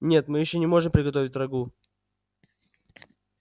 нет мы ещё не можем приготовить рагу